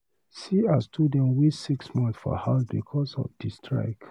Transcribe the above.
See as students waste six months for house because of di strike.